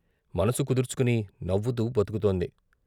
మనసు కుదుర్చుకుని నవ్వుతూ బతుకుతోంది.